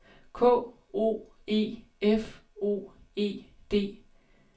K O E F O E D